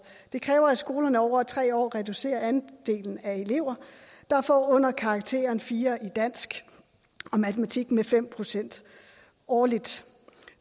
det kræver at skolerne over tre år reducerer andelen af elever der får under karakteren fire i dansk og matematik med fem procent årligt